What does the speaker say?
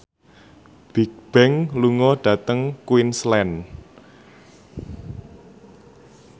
Bigbang lunga dhateng Queensland